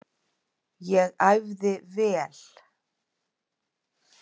Ég æfði vel.